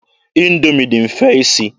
Indoomi dị mfe isi.